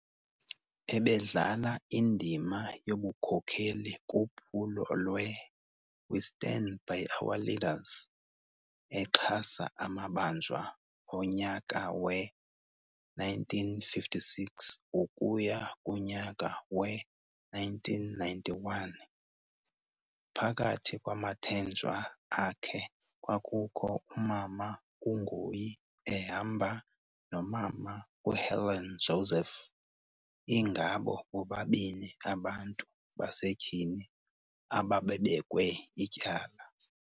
Ebedlala indima yobukhokheli kuphulo lwe 'We stand by our leaders' exhasa amabanjwa onyaka we-1956 ukuya kunyaka we-1991. Phakathi kwamathenjwa akhe kwakukho umama uNgoyi ehamba nomama uHelen Joseph ingabo bobabini abantu basetyhini ababebekwe ityala.